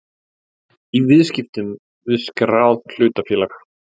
í viðskiptum við skráð hlutafélag.